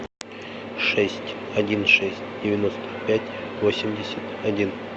шесть один шесть девяносто пять восемьдесят один